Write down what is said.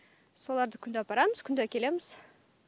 соларды күнде апарамыз күнде әкелеміз